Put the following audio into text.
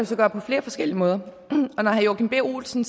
så gøre på flere forskellige måder og når herre joachim b olsen